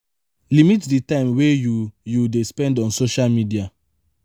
limit di time wey you you dey spend on social media